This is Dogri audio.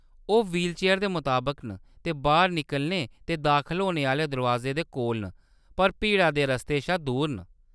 ओह्‌‌ व्हीलचेयर दे मताबक न ते बाह्‌‌र निकलने ते दाखल होने आह्‌ले दरोआजे दे कोल न, पर भीड़ा दे रस्ते शा दूर न।